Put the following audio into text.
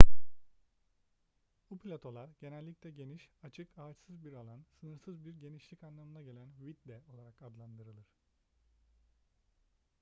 bu platolar genellikle geniş açık ağaçsız bir alan sınırsız bir genişlik anlamına gelen vidde olarak adlandırılır